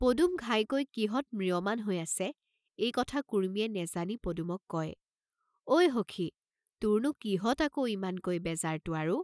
পদুম ঘাইকৈ কিহত ম্ৰিয়মান হৈ আছে, এই কথা কুৰ্ম্মীয়ে নেজানি পদুমক কয় "ঐ হখি, তুৰনু কিহত আকৌ ইমানকৈ বেজাৰ তো আৰু?